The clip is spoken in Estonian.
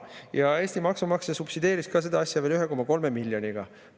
Ja Eesti maksumaksja subsideeris seda veel 1,3 miljoniga.